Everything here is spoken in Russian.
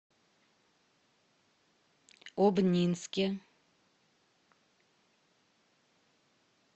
обнинске